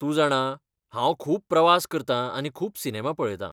तूं जाणा हांव खूब प्रवास करतां आनी खूब सिनेमा पळयतां.